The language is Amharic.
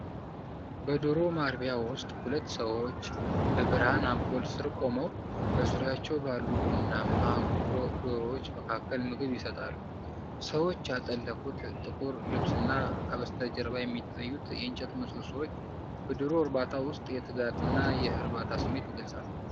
በዶሮ ማርቢያ ውስጥ ሁለት ሰዎች፣ በብርሃን አምፖል ሥር ቆመው፣ በዙሪያቸው ባሉ ቡናማ ዶሮዎች መካከል ምግብ ይሰጣሉ። ሰዎች ያጠለቁት ጥቁር ልብስና ከበስተጀርባ የሚታዩት የእንጨት ምሰሶዎች፣ በዶሮ እርባታ ውስጥ የትጋትና የእርካታ ስሜት ይገልጻሉ።